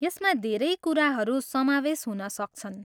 यसमा धेरै कुराहरू समावेश हुन सक्छन्।